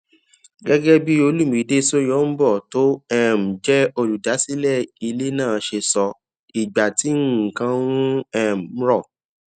gégé bí olumide soyombo tó um jé olùdásílẹ ilé náà ṣe sọ ìgbà tí nǹkan ń um rò